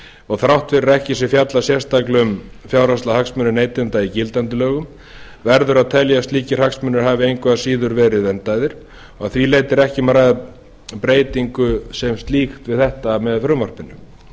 og þrátt fyrir að ekki sé fjallað sérstaklega um fjárhagslega hagsmuni neytenda í gildandi lögum verður að telja að slíkir hagsmunir hafi engu að síður verið verndaðir og að því leyti er ekki um að ræða breytingu sem slíkt við þetta með frumvarpinu